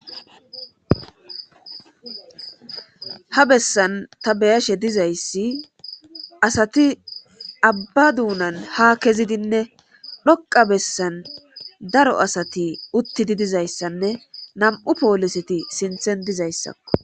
ha bessan ta be7ashe dizayssi asati abba duunan ha kezidinne dhoqa bessan daro asati uttidi dizayssanne nam7u pooliseti sinthen dizayssakko.